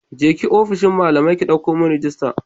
Je ki ofishin malamai ki ɗauko min rajista.